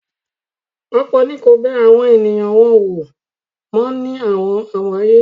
ọ̀pọ̀ ni kò bẹ àwọn ènìyàn wọn wò mó ní àwọn ààyè yìí.